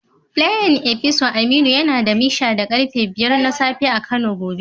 Playin opisa Aminu yana da mishan da karfe 5 na safe a kano gobe.